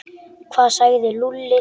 Hvað sagði Lúlli?